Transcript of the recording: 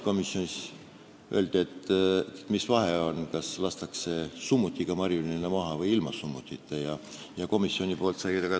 Komisjonis küsiti, mis vahet on, kas marjuline lastakse maha summutiga või summutita relvast.